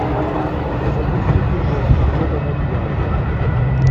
запусти кино охота на дьявола